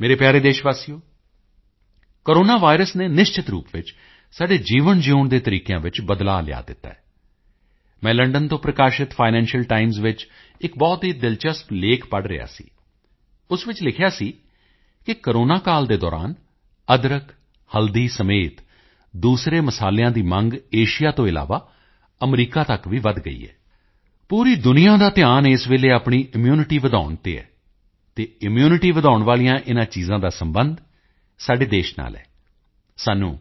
ਮੇਰੇ ਪਿਆਰੇ ਦੇਸ਼ਵਾਸੀਓ ਕੋਰੋਨਾ ਵਾਇਰਸ ਨੇ ਨਿਸ਼ਚਿਤ ਰੂਪ ਵਿੱਚ ਸਾਡੇ ਜੀਵਨ ਜਿਊਣ ਦੇ ਤਰੀਕਿਆਂ ਵਿੱਚ ਬਦਲਾਅ ਲਿਆ ਦਿੱਤਾ ਹੈ ਮੈਂ ਲੰਡਨ ਤੋਂ ਪ੍ਰਕਾਸ਼ਿਤ ਫਾਈਨੈਂਸ਼ੀਅਲ ਟਾਈਮਜ਼ ਵਿੱਚ ਇੱਕ ਬਹੁਤ ਹੀ ਦਿਲਚਲਪ ਲੇਖ ਪੜ੍ਹ ਰਿਹਾ ਸੀ ਉਸ ਵਿੱਚ ਲਿਖਿਆ ਸੀ ਕਿ ਕੋਰੋਨਾ ਕਾਲ ਦੇ ਦੌਰਾਨ ਅਦਰਕਹਲਦੀ ਸਮੇਤ ਦੂਸਰੇ ਮਸਾਲਿਆਂ ਦੀ ਮੰਗ ਏਸ਼ੀਆ ਤੋਂ ਇਲਾਵਾ ਅਮਰੀਕਾ ਤੱਕ ਵੀ ਵਧ ਗਈ ਹੈ ਪੂਰੀ ਦੁਨੀਆ ਦਾ ਧਿਆਨ ਇਸ ਵੇਲੇ ਆਪਣੀ ਇਮਿਊਨਿਟੀ ਵਧਾਉਣ ਤੇ ਹੈ ਅਤੇ ਇਮਿਊਨਿਟੀ ਵਧਾਉਣ ਵਾਲੀਆਂ ਇਨ੍ਹਾਂ ਚੀਜ਼ਾਂ ਦਾ ਸਬੰਧ ਸਾਡੇ ਦੇਸ਼ ਨਾਲ ਹੈ ਸਾਨੂੰ